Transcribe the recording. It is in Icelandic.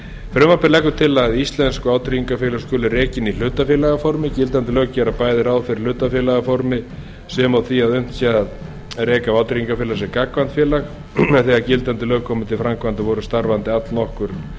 frumvarpið leggur til að íslensk vátryggingafélög skuli rekin í hlutafélagaformi gildandi lög gera bæði ráð fyrir hlutafélagaformi sem og því að unnt sé að reka vátryggingafélag sem gagnkvæmt félag en þegar gildandi lög komu til framkvæmda voru starfandi allnokkur